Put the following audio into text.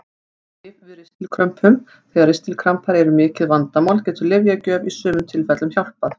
Lyf við ristilkrömpum Þegar ristilkrampar eru mikið vandamál getur lyfjagjöf í sumum tilfellum hjálpað.